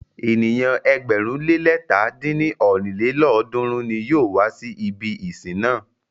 Ènìyàn ẹgbẹ̀rún le lẹ̀ta dín ní ọ́rin lélọ́ọ̀dúnrún ní yóò wá si ibi ìsìn náà.